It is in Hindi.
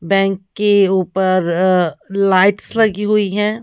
बैंक के ऊपर लाइट्स लगी हुई है ।